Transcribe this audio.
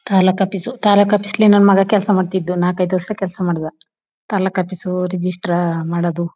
ತಾಲೂಕ office taluk office ಅಲ್ಲಿ ನನ್ ಮಗ ಕೆಲಸ ಮಾಡ್ತಿದ್ದ ನಾಕ್ ಐದು ವರ್ಷ ಕೆಲಸ ಮಡಿದ ತಾಲೂಕ ಆಫೀಸ್ ರಿಜಿಸ್ಟರ್ ಮಾಡೋದು.